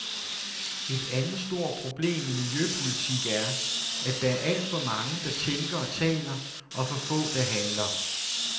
Et andet stort problem i miljøpolitik er, at der er alt for mange, der tænker og taler, og for få, der handler.